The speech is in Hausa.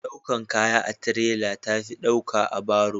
daukan kaya a tirela ta fi dauka da baro